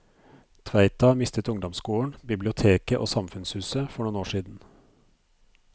Tveita mistet ungdomsskolen, biblioteket og samfunnshuset for noen år siden.